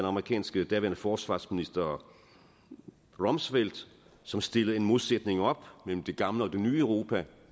amerikanske forsvarsminister rumsfeld som stillede en modsætning op mellem det gamle og det nye europa